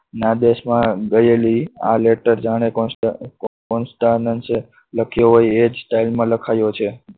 ના દેશમાં ગયેલી આ later જાણે constant છે. લખ્યું હોય એ જ time માં લખાય છે.